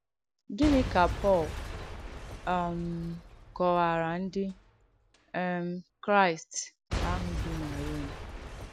Gìní ka Pọ̀l um kọ̀wàrà Ndí um Kràị̀st àhụ̄ bì na Ròm?